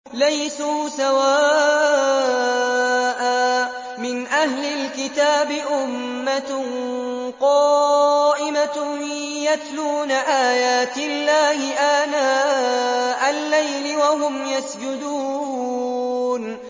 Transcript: ۞ لَيْسُوا سَوَاءً ۗ مِّنْ أَهْلِ الْكِتَابِ أُمَّةٌ قَائِمَةٌ يَتْلُونَ آيَاتِ اللَّهِ آنَاءَ اللَّيْلِ وَهُمْ يَسْجُدُونَ